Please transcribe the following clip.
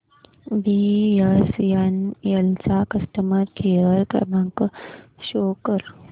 BSNL चा customer care क्रमांक show कर